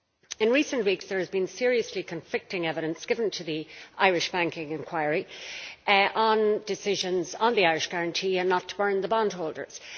In recent weeks there has been seriously conflicting evidence given to the Irish banking inquiry on decisions on the Irish guarantee and not burning bondholders.